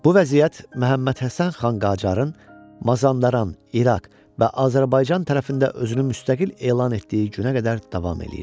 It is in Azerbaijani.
Bu vəziyyət Məhəmməd Həsən xan Qacarın Mazandaran, İraq və Azərbaycan tərəfində özünü müstəqil elan etdiyi günə qədər davam eləyirdi.